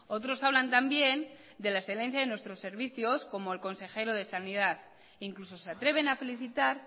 otros hablan también de la excelencia de nuestros servicios como el consejero de sanidad incluso se atreven a felicitar